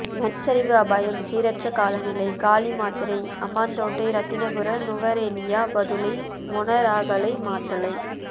மண்சரிவு அபாயம் சீரற்ற காலநிலை காலி மாத்தறை அம்பாந்தோட்டை இரத்தினபுரி நுவரேலியா பதுளை மொனராகலை மாத்தளை